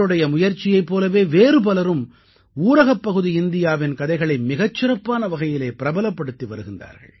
இவருடைய முயற்சியைப் போலவே வேறு பலரும் ஊரகப்பகுதி இந்தியாவின் கதைகளை மிகச் சிறப்பான வகையிலே பிரபலப்படுத்தி வருகின்றார்கள்